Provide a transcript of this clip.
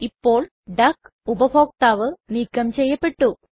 ഇപ്പോൾ ഡക്ക് ഉപഭോക്താവ് നീക്കം ചെയ്യപെട്ടു